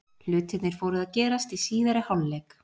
Hlutirnir fóru að gerast í síðari hálfleik.